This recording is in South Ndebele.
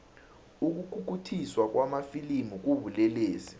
ukukhukhuthiswa kwamafilimu kubulelesi